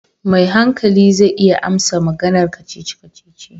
Mai hankali zai iya amsa maganar kacici kacici.